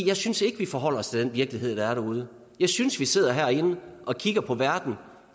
jeg synes ikke vi forholder os til den virkelighed der er derude jeg synes vi sidder herinde og kigger på verden